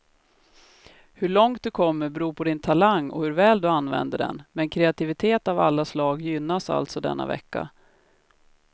Hur långt du kommer beror på din talang och hur väl du använder den, men kreativitet av alla slag gynnas alltså denna vecka.